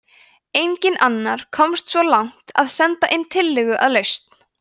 enginn annar komst svo langt að senda inn tillögu að lausn